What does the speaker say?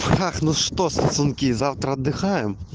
так ну что сосунки завтра отдыхаем